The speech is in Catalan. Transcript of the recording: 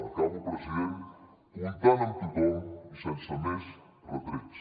acabo president comptant amb tothom i sense més retrets